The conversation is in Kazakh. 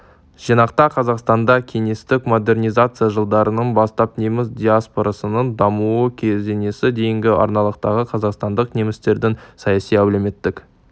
жинақта қазақстанда кеңестік модернизация жылдарынан бастап неміс диаспорасының дамуы кезеңіне дейінгі аралықтағы қазақстандық немістердің саяси әлеуметтік